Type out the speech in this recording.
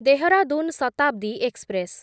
Dehradun Shatabdi express